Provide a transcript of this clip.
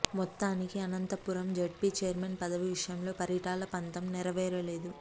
మొత్తానికి Anantapuram ZP chairman పదవి విషయంలో పరిటాల పంతం నెరవేరలేదు